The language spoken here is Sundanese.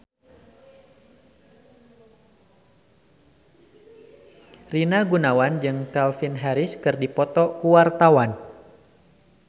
Rina Gunawan jeung Calvin Harris keur dipoto ku wartawan